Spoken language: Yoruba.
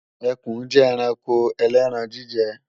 Ẹkùn jẹ́ ẹranko ẹlẹ́ran-jíjẹ